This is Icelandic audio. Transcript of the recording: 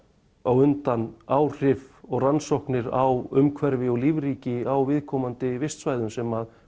á undan áhrif og rannsóknir á umhverfi og lífríki á viðkomandi vistsvæðum sem